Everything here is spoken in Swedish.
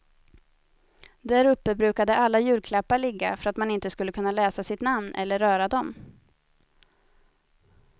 Däruppe brukade alla julklappar ligga, för att man inte skulle kunna läsa sitt namn eller röra dom.